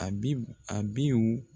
A bib, abiw